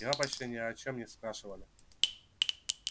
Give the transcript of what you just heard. его почти ни о чём не спрашивали